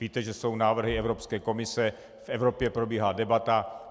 Víte, že jsou návrhy Evropské komise, v Evropě probíhá debata.